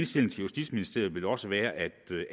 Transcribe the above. til justitsministeriet vil også være